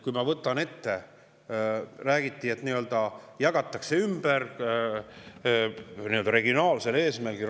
Räägiti, et raha saamine jagatakse ümber regionaalse eesmärgil.